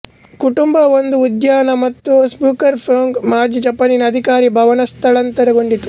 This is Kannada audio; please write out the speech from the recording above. ಕುಟುಂಬ ಒಂದು ಉದ್ಯಾನ ಮತ್ತು ಸ್ನೂಕರ್ ಪ್ಯೊಂಗ್ ಮಾಜಿ ಜಪಾನಿನ ಅಧಿಕಾರಿ ಭವನ ಸ್ಥಳಾಂತರಗೊಂಡಿತು